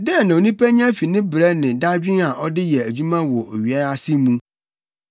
Dɛn na onipa nya fi ne brɛ ne dadwen a ɔde yɛ adwuma wɔ owia yi ase mu?